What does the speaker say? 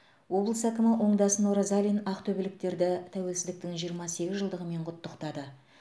облыс әкімі оңдасын оразалин ақтөбеліктерді тәуелсіздіктің жиырма сегіз жылдығымен құттықтады